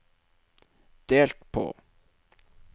delt på